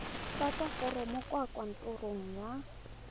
tlatsa foromo kwa kantorong ya